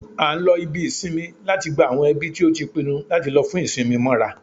A n lo ibí isínmì láti gbá awọn ẹbi ti o tí pinnu lati lò fún isinmi móra